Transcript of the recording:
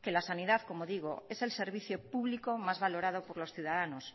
que la sanidad como digo es el servicio público más valorado por los ciudadanos